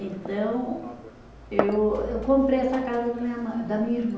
Então eu eu comprei essa casa da minha mã, da minha irmã.